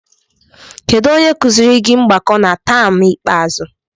Kedu onye kụziiri gị mgbakọ na taam ikpeazụ?